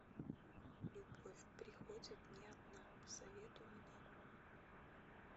любовь приходит не одна посоветуй мне